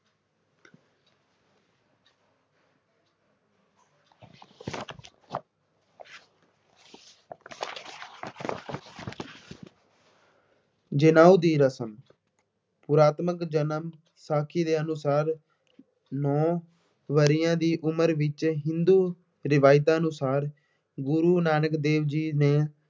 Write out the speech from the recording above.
ਜਨੇਊ ਦੀ ਰਸਮ ਪੁਰਾਤਮਕ ਜਨਮ ਸਾਖੀ ਦੇ ਅਨੁਸਾਰ ਨੌਂ ਵਰ੍ਹਿਆਂ ਦੀ ਉਮਰ ਵਿੱਚ ਹਿੰਦੂ ਰਵਾਇਤਾਂ ਅਨੁਸਾਰ ਗੁਰੂ ਨਾਨਕ ਦੇਵ ਜੀ ਨੂੰ